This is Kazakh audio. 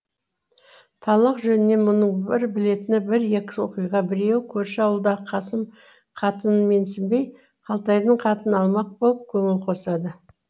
талақ жөнінен мұның бір білетіні бір екі оқиға біреуі көрші ауылдағы қасым қатынын менсінбей қалтайдың қатынын алмақ болып көңіл қосады